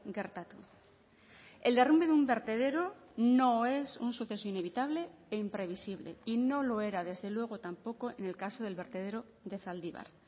gertatu el derrumbe de un vertedero no es un suceso inevitable e imprevisible y no lo era desde luego tampoco en el caso del vertedero de zaldibar